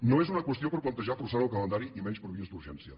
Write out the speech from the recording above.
no és una qüestió per plantejar forçant el calendari i menys per vies d’urgència